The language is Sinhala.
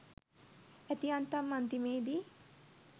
ඇති යන්තම් අන්තිමේදී